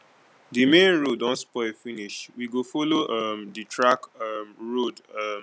di main road don spoil finish we go folo um di track um road um